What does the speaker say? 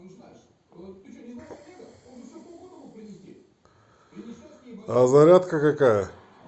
а зарядка какая